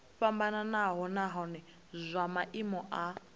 fhambanaho nahone zwa maimo a